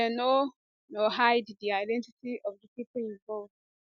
dem no no hide di identity of di pipo involved